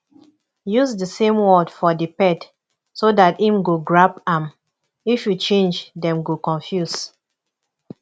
use di same word for di pet so dat im go grab am if you change dem go confuse